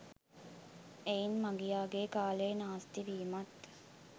එයින් මගියාගේ කාලය නාස්තිවීමත්